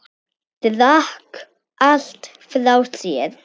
Drakk allt frá sér.